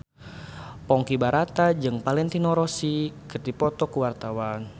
Ponky Brata jeung Valentino Rossi keur dipoto ku wartawan